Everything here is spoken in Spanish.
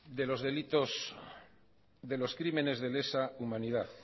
de los delitos de los crímenes de lesa humanidad